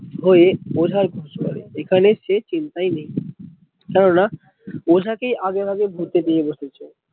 হয়ে ওঝার খোঁজ করে এখানে সে চিন্তায় নেই কেন না ওঝা কে আগেভাগে ভুতে বসেছে